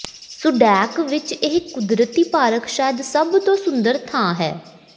Sudak ਵਿਚ ਇਹ ਕੁਦਰਤੀ ਪਾਰਕ ਸ਼ਾਇਦ ਸਭ ਤੋਂ ਸੁੰਦਰ ਥਾਂ ਹੈ